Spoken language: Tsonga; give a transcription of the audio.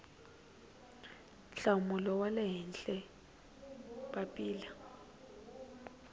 nhlawulo wa le henhla papila